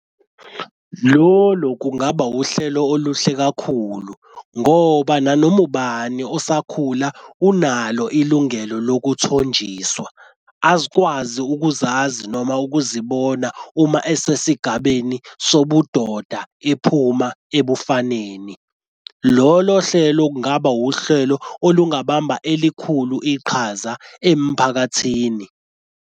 Lolo kungaba uhlelo oluhle kakhulu ngoba nanoma ubani osakhula unalo ilungelo lokutonjiswa. Azikwazi ukuzazi noma ukuzibona uma esesigabeni sobudoda iphuma ebufaneni. Lolo hlelo kungaba uhlelo olungabamba elikhulu iqhaza emphakathini.